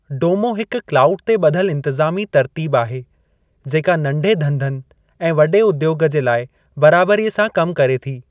डोमो हिक क्लाउड ते ॿधलु इंतज़ामी तर्तीब आहे जेका नंढे धंधनि ऐं वॾे उद्योग जे लाइ बराबरीअ सां कमु करे थी।